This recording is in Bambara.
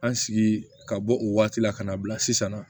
An sigi ka bɔ o waati la ka na bila sisan nɔ